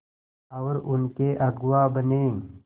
और उनके अगुआ बने